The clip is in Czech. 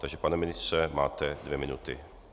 Takže pane ministře, máte dvě minuty.